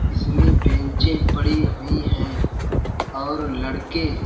इसमें बेंचे पड़ी हुई हैं और लड़के --